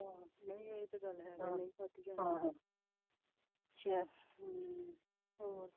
ਹਾਂ ਇਹ ਤੇ ਗੱਲ ਹੈ ਚੱਲ ਹੋਰ ਸੁਣਾ।